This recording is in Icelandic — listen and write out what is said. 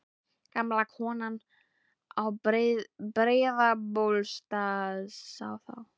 Gamla konan á Breiðabólsstað sá þá.